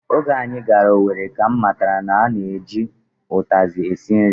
Oge anyị gara Owere ka m matara na a na-eju ụtazị esi nri